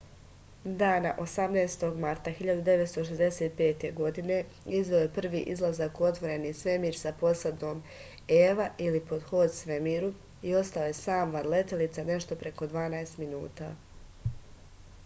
дана 18. марта 1965. године извео је први излазак у отворени свемир са посадом eva или ход по свемиру и остао је сам ван летелице нешто преко дванаест минута